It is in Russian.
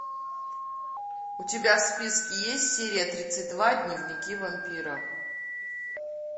у тебя в списке есть серия тридцать два дневники вампира